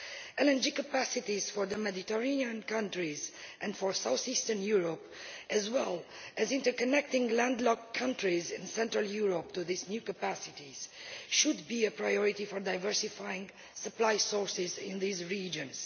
Energy capacity for the Mediterranean countries and for south eastern Europe, as well as interconnecting landlocked countries in central Europe to these new capacities, should be a priority for diversifying supply sources in these regions.